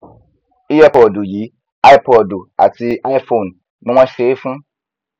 earpod yìí ipod àti iphone ni wọn ṣe é fún